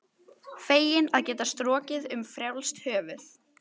Feginn að geta strokið um frjálst höfuð.